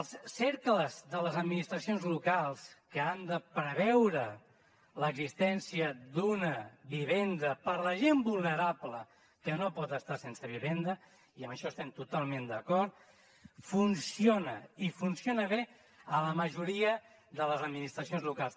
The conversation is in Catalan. els cercles de les administracions locals que han de preveure l’existència d’una vivenda per la gent vulnerable que no pot estar sense vivenda i en això estem totalment d’acord funcionen i funcionen bé en la majoria de les administracions locals